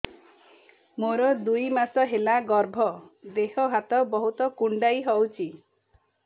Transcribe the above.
ମୋର ଦୁଇ ମାସ ହେଲା ଗର୍ଭ ଦେହ ହାତ ବହୁତ କୁଣ୍ଡାଇ ହଉଚି